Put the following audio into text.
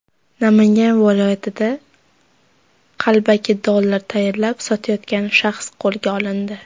Namangan viloyatida qalbaki dollar tayyorlab sotayotgan shaxs qo‘lga olindi.